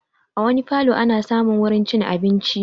A wani falo ana samun wurin cin abinci